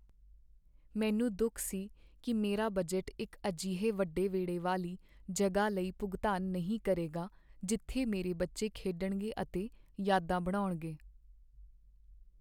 ਮੈਨੂੰ ਦੁੱਖ ਸੀ ਕਿ ਮੇਰਾ ਬਜਟ ਇੱਕ ਅਜਿਹੇ ਵੱਡੇ ਵਿਹੜੇ ਵਾਲੀ ਜਗ੍ਹਾ ਲਈ ਭੁਗਤਾਨ ਨਹੀਂ ਕਰੇਗਾ ਜਿੱਥੇ ਮੇਰੇ ਬੱਚੇ ਖੇਡਣਗੇ ਅਤੇ ਯਾਦਾਂ ਬਣਾਉਣਗੇ।